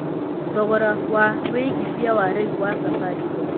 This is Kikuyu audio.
thogora wa wĩigĩthĩa wa rĩũ wa safaricom